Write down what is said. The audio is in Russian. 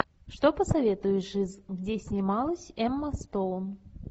что посоветуешь из где снималась эмма стоун